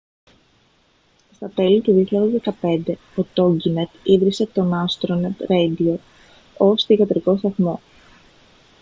στα τέλη του 2015 ο τόγκινετ ίδρυσε τον άστρονετ ρέιντιο ως θυγατρικό σταθμό